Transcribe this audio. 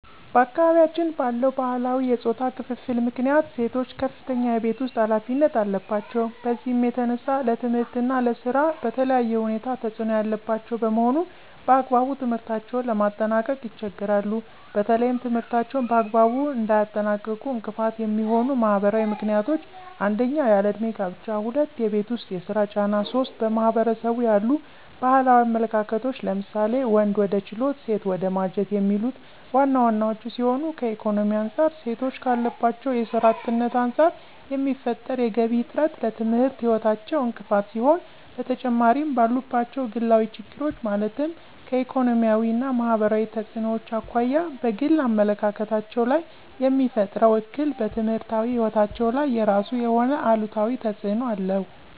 በአካባቢያችን ባለው ባህላዊ የፆታ ክፍፍል ምክንያት ሴቶች ከፍተኛ የቤት ውስጥ ኃላፊነት አለባቸው። በዚህም የተነሳ ለትምህርት እና ለስራ በተለየ ሁኔታ ተፅዕኖ ያለባቸው በመሆኑ በአግባቡ ትምህርታቸውን ለማጠናቀቅ ይቸገራሉ። በተለይም ትምህርታቸውን በአግባቡ እንዳያጠናቅቁ እንቅፋት የሚሆኑ ማህበራዊ ምክንያቶች 1- ያለ እድሜ ጋብቻ 2- የቤት ውስጥ የስራ ጫና 3- በማህበረሰቡ ያሉ ባህላዊ አመለካከቶች ለምሳሌ:- ወንድ ወደ ችሎት ሴት ወደ ማጀት የሚሉት ዋና ዋናወቹ ሲሆኑ ከኢኮኖሚ አንፃር ሴቶች ካለባቸው የስራ አጥነት አንፃር የሚፈጠር የገቢ እጥረት ለትምህርት ህይወታቸው እንቅፋት ሲሆን በተጨማሪምባሉባቸው ግላዊ ችግሮች ማለትም ከኢኮኖሚያዊ እና ማህበራዊ ተፅዕኖዎች አኳያ በግል አመለካከታቸው ላይየሚፈጥረው እክል በትምህርታዊ ህይወታቸው ላይ የራሱ የሆነ አሉታዊ ተፅዕኖ አለው።